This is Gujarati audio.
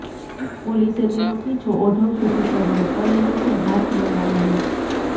પોલીસે તેનો પીછો ઓઢવ સુધી કર્યો પરંતુ તે હાથ ન લાગ્યો